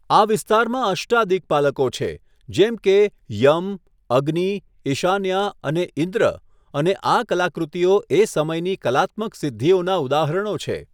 આ વિસ્તારમાં અષ્ટાદિક્પાલકો છે, જેમ કે યમ, અગ્નિ, ઈશાન્યા અને ઇન્દ્ર અને આ કલાકૃતિઓ એ સમયની કલાત્મક સિદ્ધિઓના ઉદાહરણો છે.